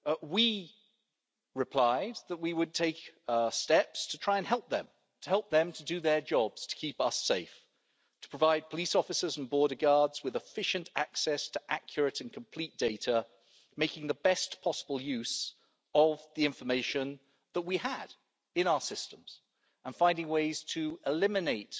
We replied that we would take steps to try and help them, to help them to do their jobs to keep us safe, to provide police officers and border guards with efficient access to accurate and complete data, making the best possible use of the information that we had in our systems and finding ways to eliminate